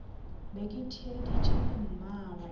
be ke theeditše le mmagwe